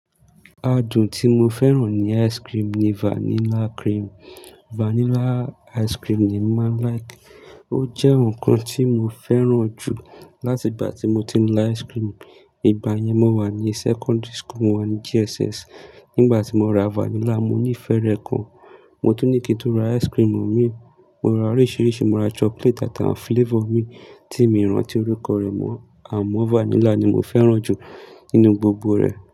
Adùn tí mo fẹ́ràn ní ice cream ni vanilla cream. Vanilla ice cream ni má like. Ó jẹ́ nǹkan tí mo fẹ́ràn jù láti ìgbà tí mo ti ń lá ice cream. Ìgbà yẹn mó wà ní secondary school, mo wà ní JSS. Nígbà tí mo ra vanilla, mo ní ìfẹ́ rẹ̀ gan. Mo tún ní kí n tó ra ice cream mi, mo ra oríṣiríṣi, mo ra chocolate àtàwọn flavor mi tí mi rántí orúkọ rẹ̀ mó, àmó vanilla ni mo fẹ́ràn jù nínú gbogbo rẹ̀.